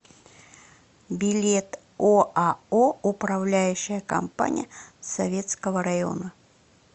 билет оао управляющая компания советского района